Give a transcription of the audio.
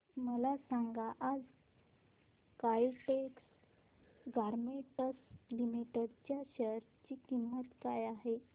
मला सांगा आज काइटेक्स गारमेंट्स लिमिटेड च्या शेअर ची किंमत काय आहे